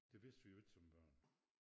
Det vidste vi jo ikke som børn